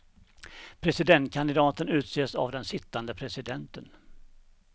Presidentkandidaten utses av den sittande presidenten.